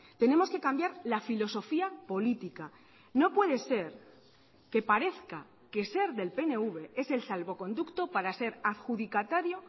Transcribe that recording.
tenemos que cambiar la filosofía política no puede ser que parezca que ser del pnv es el salvoconducto para ser adjudicatario